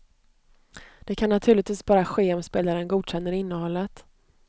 Det kan naturligtvis bara ske om spelaren godkänner innehållet.